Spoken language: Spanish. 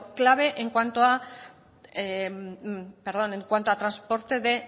clave en cuanto a transporte de